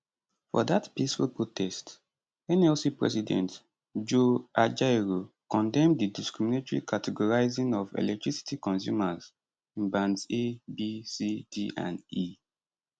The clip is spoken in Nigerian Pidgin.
for dat peaceful protest nlc president joe ajaero condemn di discriminatory categorising of electricity consumers in bands a b c d and e